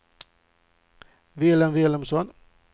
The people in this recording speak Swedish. Vilhelm Vilhelmsson